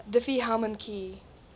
diffie hellman key